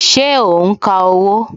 Ṣé o n ka owó?